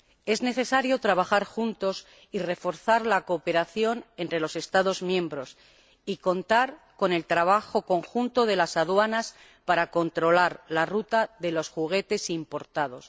Es necesario trabajar juntos y reforzar la cooperación entre los Estados miembros y contar con el trabajo conjunto de las aduanas para controlar la ruta de los juguetes importados.